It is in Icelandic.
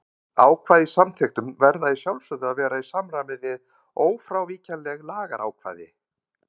Ákvæði í samþykktum verða að sjálfsögðu að vera í samræmi við ófrávíkjanleg lagaákvæði.